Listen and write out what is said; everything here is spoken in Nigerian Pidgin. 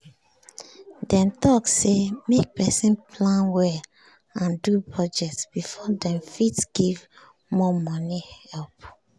dem talk say make person plan well and do budget before dem fit give more money help